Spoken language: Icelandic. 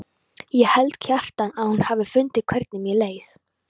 Ég held, Kjartan, að hún hafi fundið hvernig mér leið.